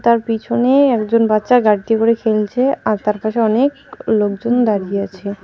তার পিছনেই একজন বাচ্চা গাড়িতে করে খেলছে আর তার পাশে অনেক লোকজন দাঁড়িয়ে আছে.